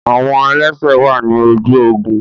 Awọn ẹlẹsẹ wà ni ojú ogún